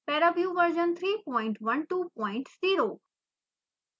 paraview version 3120